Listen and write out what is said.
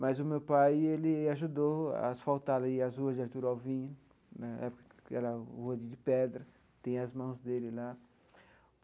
Mas o meu pai ele ajudou a asfaltar ali as ruas de Artur Alvim, na época que era rua de pedra, tem as mãos dele lá.